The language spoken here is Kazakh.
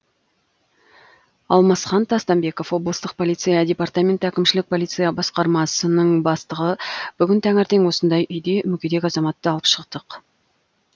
алмасхан тастанбеков облыстық полиция департаменті әкімшілік полиция басқармасының бастығы бүгін таңертең осындай үйде мүгедек азаматты алып шықтық